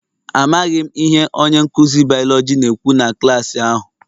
Amaghị m ihe onye nkụzi biology na-ekwu na klaasị ahụ